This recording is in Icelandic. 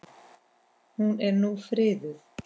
Hún er nú friðuð.